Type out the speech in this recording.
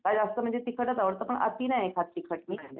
मला जास्त म्हणजे तिखटच आवडतं पण अति नाही खात तिखट मी.